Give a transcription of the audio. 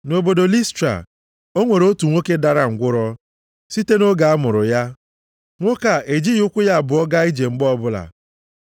Nʼobodo Listra, o nwere otu nwoke dara ngwụrọ site nʼoge a mụrụ ya. Nwoke a ejibeghị ụkwụ ya abụọ gaa ije mgbe ọbụla.